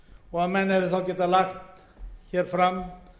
og að menn hefðu þá getað lagt hér fram